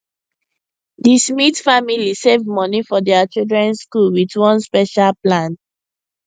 the smith family save money for their children school with one special plan